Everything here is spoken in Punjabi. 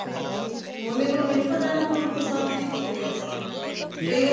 ਹੁਣ ਇਹਨੂੰ ਮੈਨੂੰ ਪਤਾ ਹੈ ਨਾ ਹੁਣ ਉਹਨੂੰ ਪਸੰਦ ਹੈ ਕਿ ਕਰੀਏ ਦੱਸੋ ਕਈ ਵਾਰੀ